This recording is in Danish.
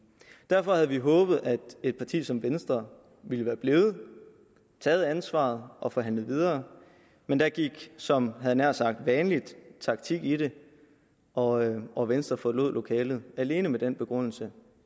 derfor havde vi håbet at et parti som venstre ville være blevet have taget ansvar og forhandlet videre men der gik som jeg nær sagt vanligt taktik i det og og venstre forlod lokalet alene med den begrundelse